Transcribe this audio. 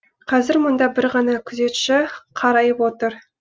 қазір мұнда бір ғана күзетші қарайып отыр